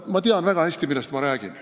Ma tean väga hästi, millest ma räägin.